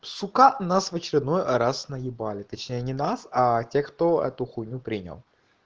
сука нас в очередной раз наебали точнее не нас а тех кто эту хуйню принял